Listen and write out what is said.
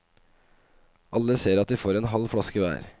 Alle ser at de får en halv flaske hver.